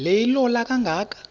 le ilola kangaka